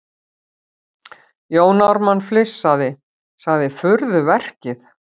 Jón Ármann flissandi:- Sagði furðuverkið.